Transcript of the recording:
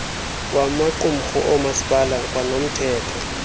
wamaqumrhu oomasipala kwanomthetho